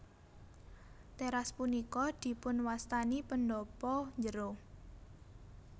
Teras punika dipunwastani pendhapa njero